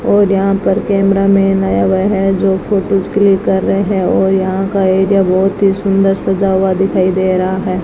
और यहां पर कैमरा में आया हुआ है जो फोटोस क्लिक कर रहे हैं और यहां का एरिया बहोत ही सुंदर सजा हुआ दिखाई दे रहा है।